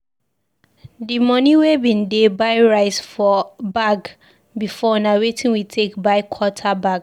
Di moni wey bin dey buy rice for bag before na wetin we take buy quarter bag.